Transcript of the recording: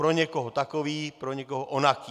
Pro někoho takový, pro někoho onaký.